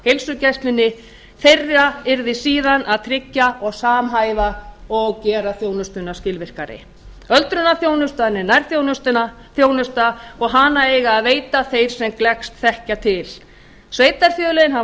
heilsugæslunni þeirra yrði síðan að tryggja og samhæfa og gera þjónstuuna skilvirkari öldrunarþjónustan er nærþjónusta og hana eiga að veita þeir sem gleggst þekkja til sveitarfélögin hafa